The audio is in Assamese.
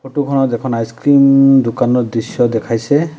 ফটো খনত এখন আইছক্ৰীম দোকানৰ দৃশ্য দেখাইছে।